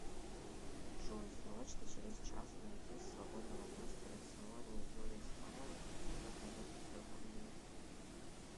джой срочно через час найди свободного мастера в салоне юрийстайл на коррекцию бровей